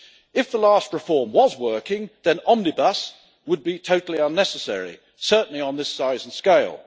If the last reform was working, then Omnibus would be totally unnecessary, certainly on this size and scale.